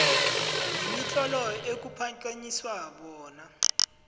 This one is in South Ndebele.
nemitlolo ekuphakanyiswa bona